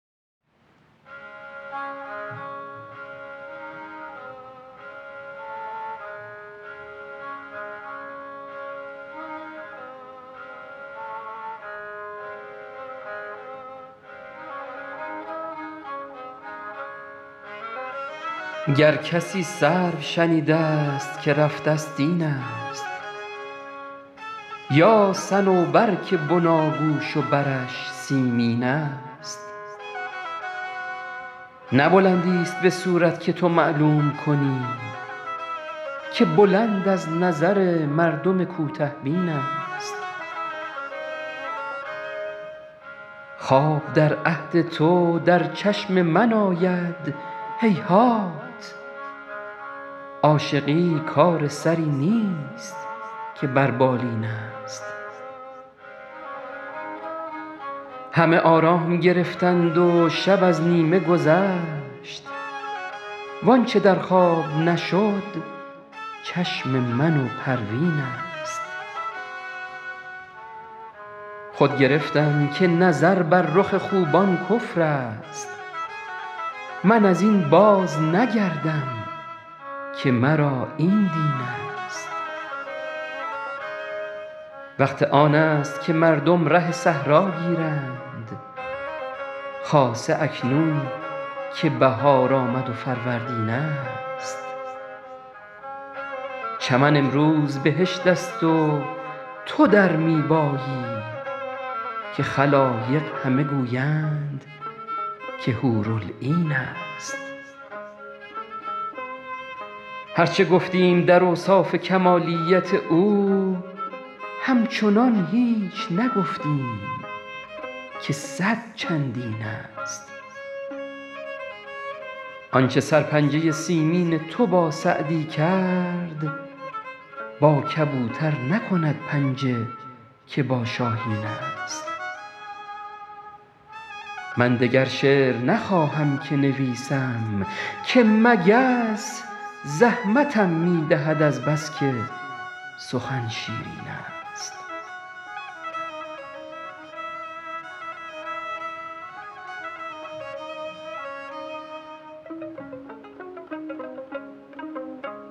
گر کسی سرو شنیده ست که رفته ست این است یا صنوبر که بناگوش و برش سیمین است نه بلندیست به صورت که تو معلوم کنی که بلند از نظر مردم کوته بین است خواب در عهد تو در چشم من آید هیهات عاشقی کار سری نیست که بر بالین است همه آرام گرفتند و شب از نیمه گذشت وآنچه در خواب نشد چشم من و پروین است خود گرفتم که نظر بر رخ خوبان کفر است من از این بازنگردم که مرا این دین است وقت آن است که مردم ره صحرا گیرند خاصه اکنون که بهار آمد و فروردین است چمن امروز بهشت است و تو در می بایی تا خلایق همه گویند که حورالعین است هر چه گفتیم در اوصاف کمالیت او همچنان هیچ نگفتیم که صد چندین است آنچه سرپنجه سیمین تو با سعدی کرد با کبوتر نکند پنجه که با شاهین است من دگر شعر نخواهم که نویسم که مگس زحمتم می دهد از بس که سخن شیرین است